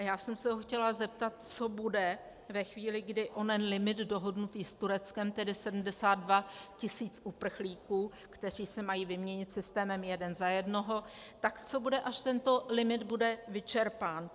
A já jsem se ho chtěla zeptat, co bude ve chvíli, kdy onen limit dohodnutý s Tureckem, tedy 72 tisíc uprchlíků, kteří se mají vyměnit systémem jeden za jednoho, tak co bude, až tento limit bude vyčerpán.